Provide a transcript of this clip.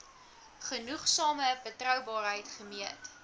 genoegsame betroubaarheid gemeet